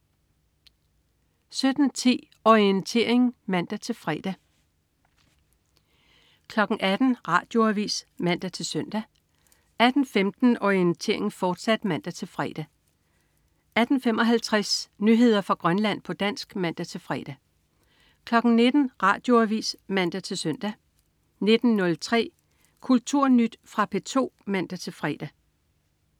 17.10 Orientering (man-fre) 18.00 Radioavis (man-søn) 18.15 Orientering, fortsat (man-fre) 18.55 Nyheder fra Grønland, på dansk (man-fre) 19.00 Radioavis (man-søn) 19.03 Kulturnyt. Fra P2 (man-fre)